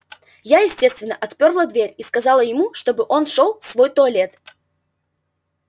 я естественно отпёрла дверь и сказала ему чтобы он шёл в свой туалет